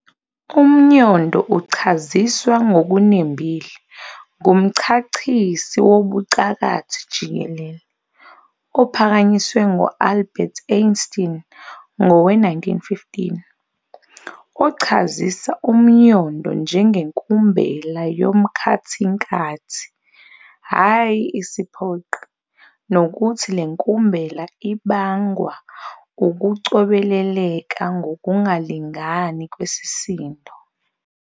Umnyondo uchaziswa ngokunembile ngumchachiso wobucakathi jikelele, ophakanyiswe ngu-Albert Einstein ngowe-1915, ochazisa umnyondo njengenkumbela yomkhathinkathi, hhayi isiphoqi, nokuthi lenkumbela ibangwa ukucobeleleka ngokungalingani kwesisindo.